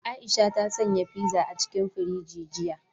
Aisha ta sanya fiza a cikin firiji jiya.